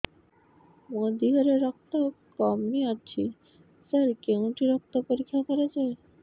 ମୋ ଦିହରେ ରକ୍ତ କମି ଅଛି ସାର କେଉଁଠି ରକ୍ତ ପରୀକ୍ଷା କରାଯାଏ